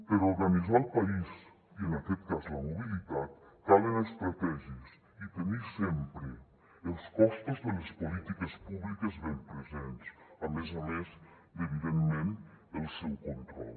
per organitzar el país i en aquest cas la mobilitat calen estratègies i tenir sempre els costos de les polítiques públiques ben presents a més a més de evidentment el seu control